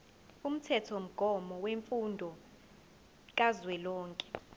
umthethomgomo wemfundo kazwelonke